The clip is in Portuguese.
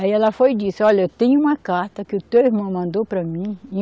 Aí ela foi e disse, olha, eu tenho uma carta que o teu irmão mandou para mim em